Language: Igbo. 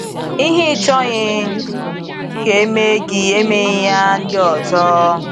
Ihe ị chọghị ka e mee gị, emeeghị ya ndị ọzọ.